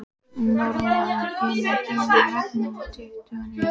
Normann, hvenær kemur vagn númer tuttugu og níu?